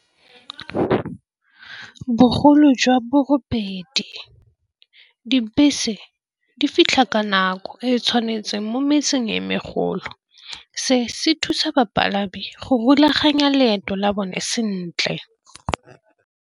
Bogolo jwa borobedi, dibese di fitlha ka nako e e tshwanetseng mo metseng e megolo, se se thusa bapalami go rulaganya leeto la bone sentle.